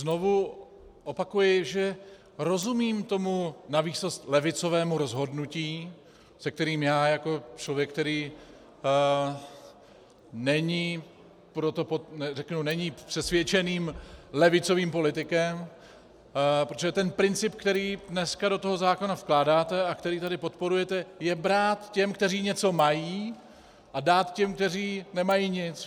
Znovu opakuji, že rozumím tomu navýsost levicového rozhodnutí, se kterým já jako člověk, který není přesvědčeným levicovým politikem - protože ten princip, který dneska do toho zákona vkládáte a který tady podporujete, je brát těm, kteří něco mají, a dát těm, kteří nemají nic.